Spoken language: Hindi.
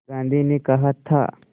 गांधी ने कहा था